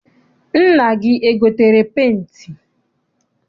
Nna gị egotere penti?